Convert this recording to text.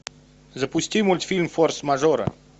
запусти мультфильм форс мажоры